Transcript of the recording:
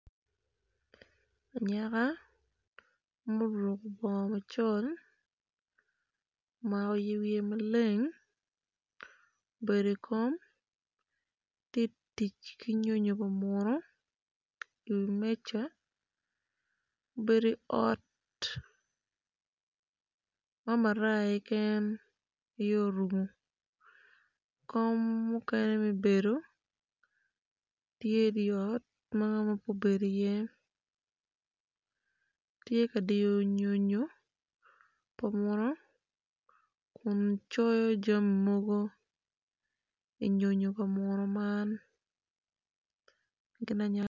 Anyaka ma oruko bongo macol omako yer wiye maleng oedo i kom tye tic ki nyo pa munu iwi meja obedo i ot ma maraya keken aye orumo kom mukene me bedo tye idi ot ma ngat mo keken pe obedo iye tye ka diyo nyonyo pa munu kun coyo jami mogo inyonyo pa munu man gin a